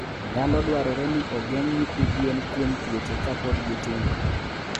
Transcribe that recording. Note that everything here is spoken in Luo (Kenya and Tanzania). Nyalo dwarore ni ogeng' nyithi gwen kuom tuoche kapod gitindo.